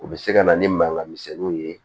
U bɛ se ka na ni mankan misɛnninw ye